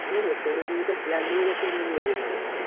হ্যা হ্যা গরম হয়ে dead হয়ে গেছে আমার mobile টা একবার